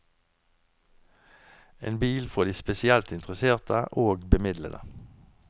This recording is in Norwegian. En bil for de spesielt interesserte og bemidlede.